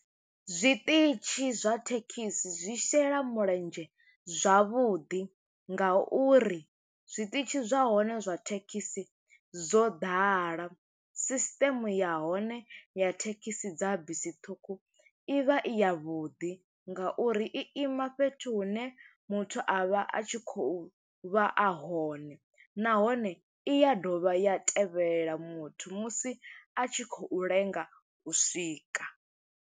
Zwiṱitshi zwa thekhisi zwi shela mulenzhe zwavhuḓi, nga uri zwiṱitshi zwa hone zwa thekhisi zwo ḓala. Sisiteme ya hone ya thekhisi dza bisi ṱhukhu, i vha i ya vhuḓi nga uri i ima fhethu hune muthu a vha a tshi khou vha a hone. Nahone i ya dovha ya tevhelela muthu, musi a tshi khou lenga u swika.